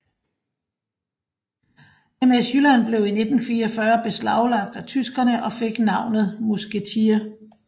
MS Jylland blev i 1944 beslaglagt af tyskerne og fik navnet Musketier